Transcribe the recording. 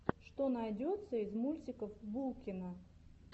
что найдется из мультиков булкина